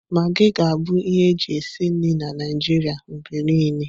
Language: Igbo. Magii ga-abụ ihe eji esi nri na Naịjirịa mgbe niile.